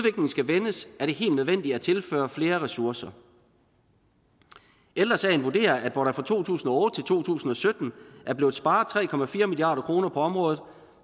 skal vendes er det helt nødvendigt at tilføre flere ressourcer ældre sagen vurderer at hvor der fra to tusind og otte to tusind og sytten er blevet sparet tre milliard kroner på området